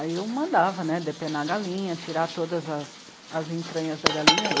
Aí eu mandava depenar a galinha, tirar todas as, as entranhas da galinha.